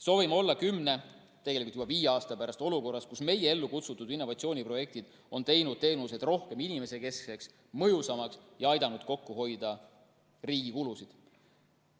Soovime olla kümne, tegelikult juba viie aasta pärast olukorras, kus meie ellu kutsutud innovatsiooniprojektid on teinud teenused inimesekesksemaks ja mõjusamaks ning aidanud kokku hoida riigi kulusid.